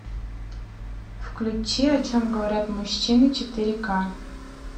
включи о чем говорят мужчины четыре ка